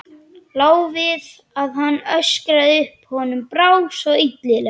Lá við að hann öskraði upp, honum brá svo illilega.